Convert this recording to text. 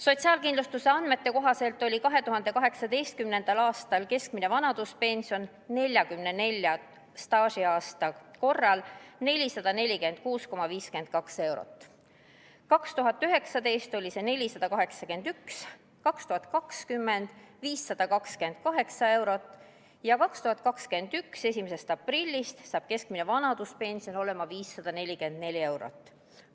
Sotsiaalkindlustuse andmete kohaselt oli 2018. aastal keskmine vanaduspension 44 staažiaasta korral 446,52 eurot, 2019 oli see 481 eurot, 2020. aastal 528 eurot ja 2021. aasta 1. aprillist saab keskmine vanaduspension olema 544 eurot.